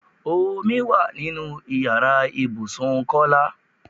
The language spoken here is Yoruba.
Omi wá nínú ìyára ibùsùn Kọ́lá.